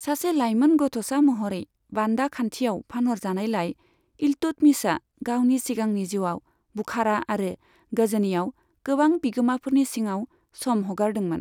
सासे लाइमोन गथ'सा महरै बान्दा खान्थियाव फानहरजानायलाय, इल्तुतमिशआ गावनि सिगांनि जिउआव बुखारा आरो गजनीआव गोबां बिगोमाफोरनि सिङाव सम हगारदोंमोन।